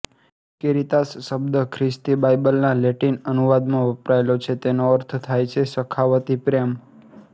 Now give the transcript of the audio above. કેરિતાસ શબ્દ ખ્રિસ્તી બાઇબલના લેટિન અનુવાદમાં વપરાયો છે તેનો અર્થ થાય છે સખાવતી પ્રેમ